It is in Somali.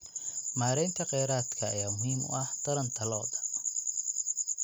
Maareynta kheyraadka ayaa muhiim u ah taranta lo'da.